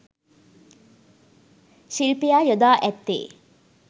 ශිල්පියා යොදා ඇත්තේ